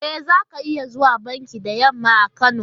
E, za ka iya zuwa banki da yamma a Kano.